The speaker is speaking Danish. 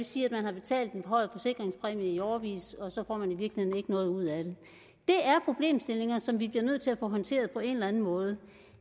sige at man har betalt en forhøjet forsikringspræmie i årevis og så får man i virkeligheden ikke noget ud af det det er problemstillinger som vi bliver nødt til at få håndteret på en eller anden måde